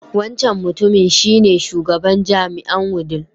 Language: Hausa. Wancan mutumin shi ne Shugaban jami'ae Wudil.